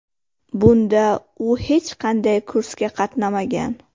Bunda u hech qanday kursga qatnamagan.